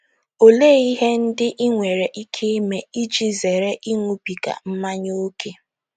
Olee ihe ndị i nwere ike ime iji zere ịṅụbiga mmanya ókè?